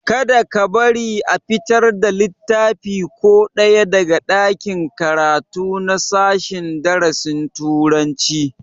Kada ka bari a fitar da littafi ko ɗaya daga ɗakin karatu na sashen darasin turanci!